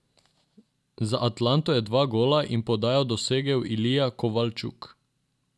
Za Atlanto je dva gola in podajo dosegel Ilija Kovalčuk.